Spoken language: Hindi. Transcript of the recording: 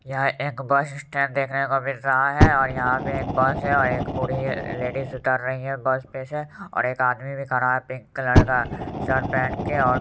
यह एक बस इस्टेंड देखने को मिल रहा है और यहाँ पे एक बस है और एक बूढ़ी लेडिस उतर रही है बस पे से और एक आदमी भी खड़ा है पिंक कलर का शर्ट पेहन के और---